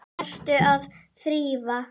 Ertu að þrífa?